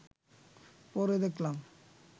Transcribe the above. পরে দেখলাম